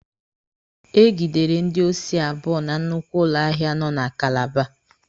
E gidere ndị osi abụọ na nnukwu ụlọ ahịa nọ na Kalaba.